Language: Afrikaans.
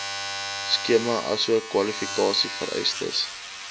skema asook kwalifikasievereistes